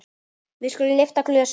Við skulum lyfta glösum!